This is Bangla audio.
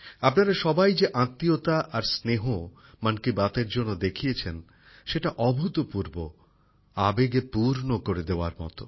আপনারা সবাই যে আত্মীয়তা আর স্নেহ মন কি বাতের জন্য দেখিয়েছেন সেটা অভূতপূর্ব আবেগে পূর্ণ করে দেওয়ার মত